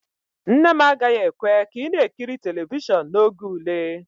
Nne m agaghị ekwe ka ị na-ekiri telivishọn n'oge ule